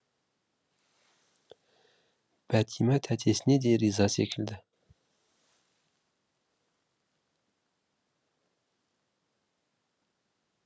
бәтима тәтесіне де риза секілді